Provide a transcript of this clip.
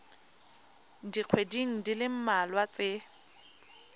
dikgweding di le mmalwa tse